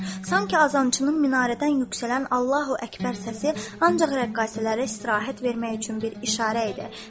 Sanki azançının minarədən yüksələn Allahu Əkbər səsi ancaq rəqqasələrə istirahət vermək üçün bir işarə idi.